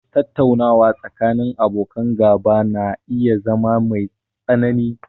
Tattaunawa tsakanin abokan gaba na iya zama mai tsanani